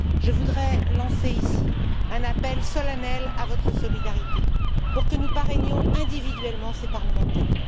Je voudrais lancer ici un appel solennel à votre solidarité pour que nous parrainions individuellement ces parlementaires.